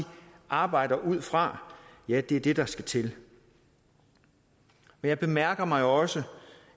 arbejder ud fra ja det er det der skal til jeg mærker mig også